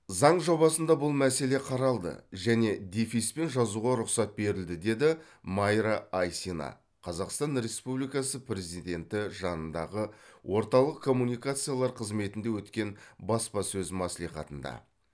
заң жобасында бұл мәселе қаралды және дефиспен жазуға рұқсат берілді деді майра айсина қазақстан республикасы президенті жанындағы орталық коммуникациялар қызметінде өткен баспасөз мәслихатында